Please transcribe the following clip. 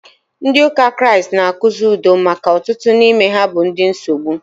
Ndị ụka Kraịst na- akụzi udo maka ọtụtụ n'ime ha bụ ndị nsogbu.